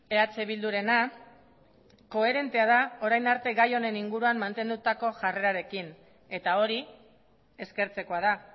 eh bildurena koherentea da orain arte gai honen inguruan mantendutako jarrerarekin eta hori eskertzekoa da